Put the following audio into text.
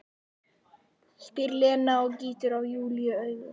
spyr Lena og gýtur á Júlíu auga.